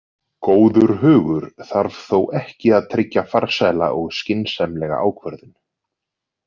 Góður hugur þarf þó ekki að tryggja farsæla og skynsamlega ákvörðun.